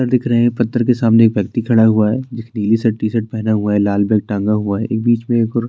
पत्थर दिख रहें हैं पत्थर के सामने एक व्यक्ति खड़ा हुआ है जिसने नीली सी टी शर्ट पहना हुआ है लाल बैग टंगा हुआ है एक बीच में और --